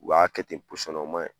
U b'a kɛ ten o o ma ɲi.